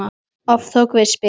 Oft tókum við spil.